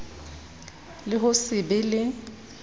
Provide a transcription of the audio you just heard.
le ho se be le